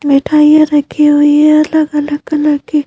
मिठाइयां रखी हुई है अलग-अलग कलर की--